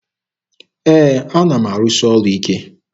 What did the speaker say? Ee, ana m arụsị ọrụ ike.